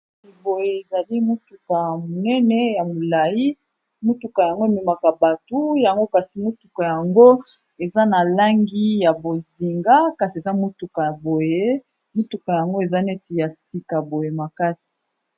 Boye ezali motuka ya monene ya molai motuka yango ememaka bato yango kasi motuka yango eza na langi ya bozinga, kasi eza motuka ya boye motuka yango eza neti ya sika boye makasi.